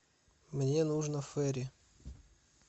мне нужно фейри